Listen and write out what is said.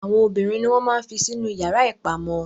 Àwọn obìnrin ni wọn máa n fí sí inú yara ipamọ.